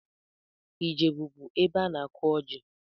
Ijebu bụ ebe ana-akụ ọjị